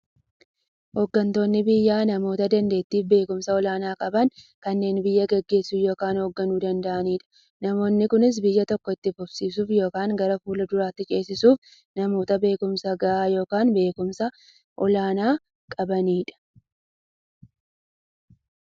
Hooggantoonni biyyaa namoota daandeettiifi beekumsa olaanaa qaban, kanneen biyya gaggeessuu yookiin hoogganuu danda'aniidha. Namoonni kunis, biyya tokko itti fufsiisuuf yookiin gara fuulduraatti ceesisuuf, namoota beekumsa gahaa yookiin beekumsa olaanaa qabaniidha.